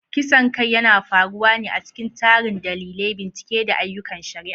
Kisan kai yana faruwa ne a cikin tarin dalilai, bincike, da ayyukan shari'a.